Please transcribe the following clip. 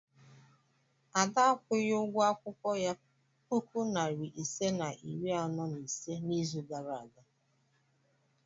Ada akwụghị ụgwọ akwụkwọ ya puku nari ise na iri anọ na ise n'izu gara aga?